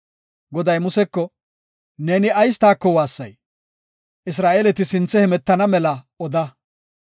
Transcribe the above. Goday Museko, “Neeni ayis taako waassay? Isra7eeleti sinthe hemetana mela oda.